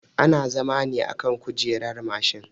Ana zama ne akan kujerar mashin